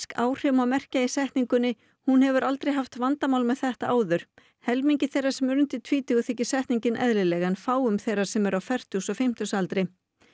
áhrif má merkja í setningunni hún hefur aldrei haft vandamál með þetta áður helmingi þeirra sem eru undir tvítugu þykir setningin eðlileg en fáum þeirra sem eru á fertugs og fimmtugsaldri